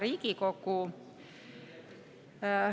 Hea Riigikogu!